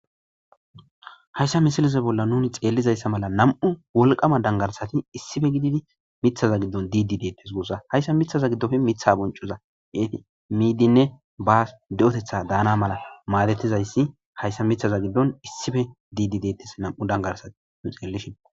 hayssa misilize bolla nuni xeellizayssa mala nam7u wolqama dangarsati issife gididi mithaza giddon diidi deettes guussa hayssa mithaza giddofe mitha boncoza yeeti miidinne basi de7otetha daana mala maadetizayssi hayssa mithaza giddon issife diidi dettes nam7u dangarsati nu xeellishin.